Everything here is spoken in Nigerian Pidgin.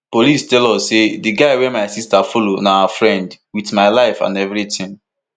police tell us say di guy wey my sister follow na our firend wit my life and evritin